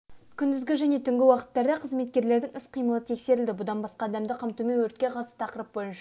күндізгі және түнгі уақыттарда қызметкерлердің іс-қимылы тексерілді бұдан басқа адамды қамтумен өртке қарсы тақырып бойынша